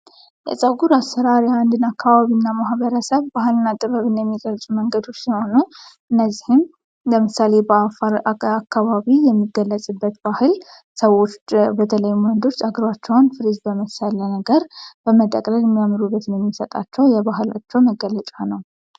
የፀጉር አስራ የአንድን አካባቢ እና ማህበረሰብ ባህል እና ጥበብን የሚገልጹ መንገዶች ሲኖሆኑ እነዚህም በምሳሌ በአካባቢ የሚገለጽበት ባህል ሰዎች በተለይ ሞንድርች አግሯቸውን ፍሬዝ በመሳለ ነገር በመጠቅለድ የሚያምሩበትን የሚሰጣቸው የባህላቸው መገለጫ ነው።